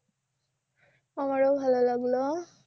আমারও ভালো লাগলো